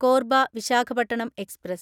Korba Visakhapatnam express